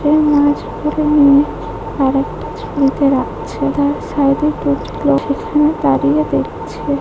সে মাছগুলি নিয়ে আর একটা ঝুড়িতে রাখছে তার সাইডে সেখানে দাঁড়িয়ে দেখছে।